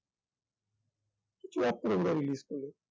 কিছু একটা রবিবারে release করলো